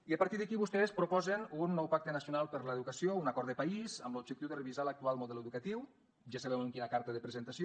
i a partir d’aquí vostès proposen un nou pacte nacional per l’educació un acord de país amb l’objectiu de revisar l’actual model educatiu ja sabeu amb quina carta de presentació